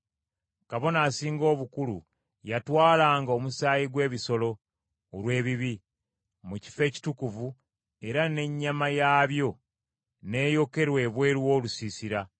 Kabona Asinga Obukulu yatwalanga omusaayi gw’ebisolo, olw’ebibi, mu kifo ekitukuvu era n’ennyama yaabyo n’eyokerwa ebweru w’olusiisira.